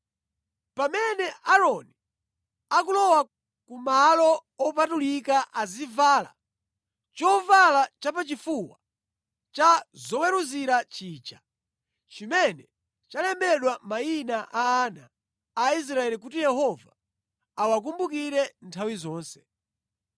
“Pamene Aaroni akulowa kumalo opatulika azivala chovala chapachifuwa cha zoweruzira chija chimene chalembedwa mayina a ana a Israeli kuti Yehova awakumbukire nthawi zonse.